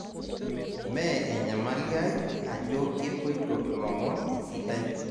me enyamali ai ajo kepoito ilomon esidai